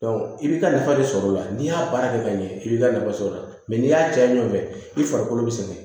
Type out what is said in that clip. i b'i ka nafa sɔr'o la n'i y'a baara kɛ ka ɲɛ i b'i ka nafa sɔrɔ a la n'i y'a caya ɲɔgɔn fɛ i farikolo bɛ sɛgɛn